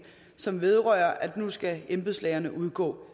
som vedrører at nu skal embedslægerne udgå